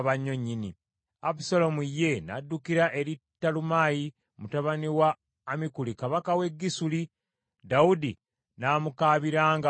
Abusaalomu ye n’addukira eri Talumaayi mutabani wa Ammikuli, kabaka w’e Gesuli, Dawudi n’amukaabiranga buli lunaku.